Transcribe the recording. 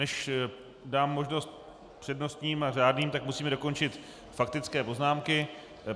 Než dám možnost přednostním a řádným, tak musíme dokončit faktické poznámky.